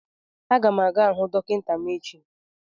A ga m aga hụ dọkịta m echi